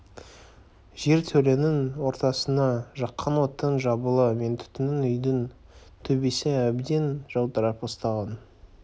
жертөленің ортасына жаққан оттың жалыны мен түтінінен үйдің төбесі әбден жылтырап ысталған